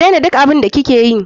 Ki dena duk abun da ki keyi.